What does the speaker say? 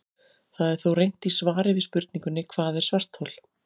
Það er þó reynt í svari við spurningunni Hvað er svarthol?